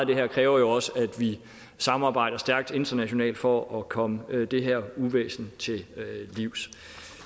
det her kræver jo også at vi samarbejder stærkt internationalt for at komme det her uvæsen til livs